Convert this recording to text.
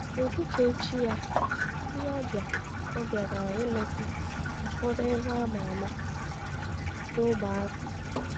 Ụtụtụ echi ya, ndị ọbịa ọbịa gara ileta ụfọdụ ebe a ma ama n’ógbè ahụ.